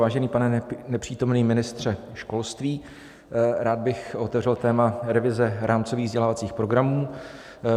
Vážený pane nepřítomný ministře školství, rád bych otevřel téma revize rámcových vzdělávacích programů.